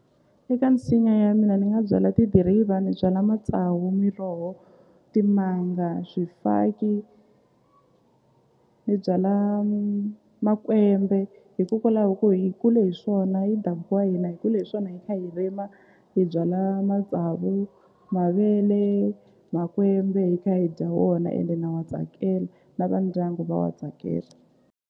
Eka nsinya ya mina ni nga byala tidiriva ni byala matsawu miroho timanga swifaki ni byala makwembe hikokwalaho ko hi kule hi swona i ndhavuko wa hina hi kule hi swona hi kha hi rima hi byala matsavu mavele makwembe hi kha hi dya wona ende na wa tsakela na va ndyangu va wa tsakela.